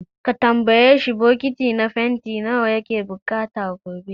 Ka tambayi shi, bucket nawa na fanti yake bukata gobe.